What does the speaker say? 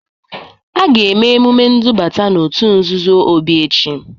A ga-eme emume ndubata n'òtù nzuzo Obi echi.